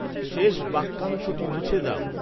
শেষ বাক্যাংশটি মুছে দাও